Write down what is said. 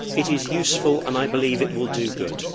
it is useful and I believe it will do good.